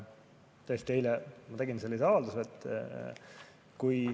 Tõesti, eile ma tegin selle avalduse.